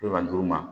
Bi wɔntu ma